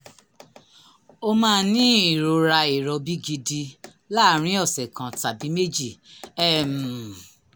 o máa ní ìrora ìrọbí gidi láàárín ọ̀sẹ̀ kan tàbí méjì um